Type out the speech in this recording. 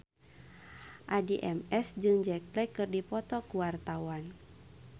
Addie MS jeung Jack Black keur dipoto ku wartawan